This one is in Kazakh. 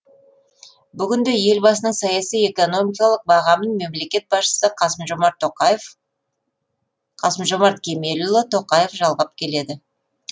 бүгінде елбасының саяси экономикалық бағамын мемлекет басшысы қасым жомарт қасым жомарт кемелұлы тоқаев жалғап келеді